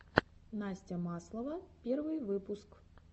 настя маслова первый выпуск